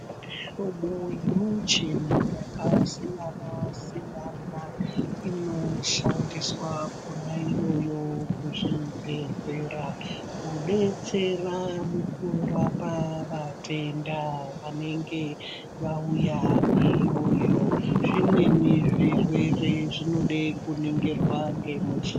Mihlobo yemuchini yakasiyana-siyana inoshandiswa kona iyoyo kuzvibhehlera kudetsera mukurapa vatenda vanenge vauya iyoyo. Zvimweni zvirwere zvinode kuningirwa nemuchi...